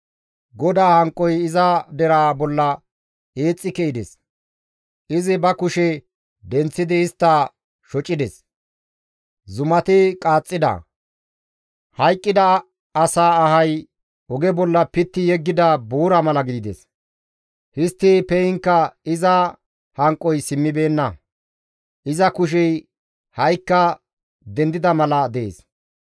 GODAA hanqoy iza deraa bolla eexxi ke7ides; izi ba kushe denththidi istta shocides. Zumati qaaxxida; hayqqida asaa ahay oge bolla pitti yeggida buura mala gidides; histti pe7iinkka iza hanqoy simmibeenna; iza kushey ha7ikka dendida mala dees.